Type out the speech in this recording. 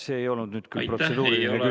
See ei olnud nüüd küll protseduuriline küsimus.